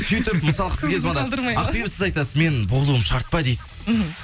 сөйтіп мысалға сізге звондады ақбибі сіз айтасыз мен болуым шарт па дейсіз мхм